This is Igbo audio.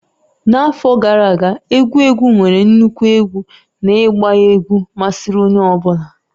N'afọ gara aga, egwu egwu nwere nnukwu egwu na ịgba egwu masịrị onye ọ bụla.